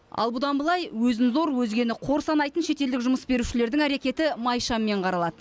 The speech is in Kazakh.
ал бұдан былай өзін зор өзгені қор санайтын шетелдік жұмыс берушілердің әрекеті май шаммен қаралады